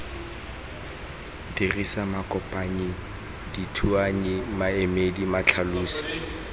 dirisa makopanyi dithuanyi maemedi matlhalosi